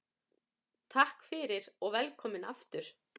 Takk fyrir og velkomin aftur.